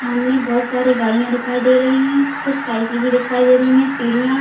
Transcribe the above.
सामने बोहोत सारी गाड़िया दिखाई दे रही है कुछ साइकील भी दिखाई दे रही है सीढ़िया--